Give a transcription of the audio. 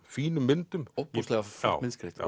fínum myndum ofboðslega flott myndskreytt